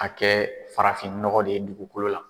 A kɛ farafinnɔgɔ de ye dugukolo la.